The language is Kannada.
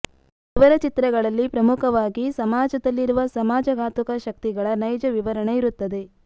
ಇವರ ಚಿತ್ರಗಳಲ್ಲಿ ಪ್ರಮುಖವಾಗಿ ಸಮಾಜದಲ್ಲಿರುವ ಸಮಾಜಘಾತುಕ ಶಕ್ತಿಗಳ ನೈಜ ವಿವರಣೆ ಇರುತ್ತದೆ